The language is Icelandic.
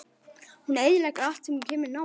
Hún eyðileggur allt sem hún kemur nálægt.